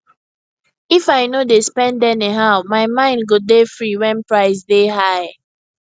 if i no dey spend anyhow my mind go dey free when price dey high